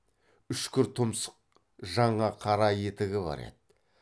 үшкір тұмсық жаңа қара етігі бар еді